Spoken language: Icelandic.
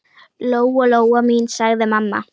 Lóa-Lóa mín, sagði mamma.